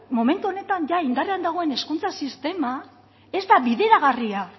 momentu honetan ia indarrean dagoen hezkuntza sistema ez da bideragarria